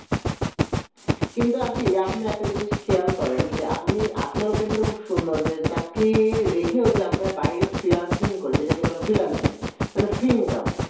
কিন্তু aunty আপনি একটা জিনিস খেয়াল করেন যে আপনি আপনার open টা খুব সুন্দর যে চাকরি রেখে যে আমরা বাইরে যে finalsing করে যেটাকে বলে finalsing মানে free income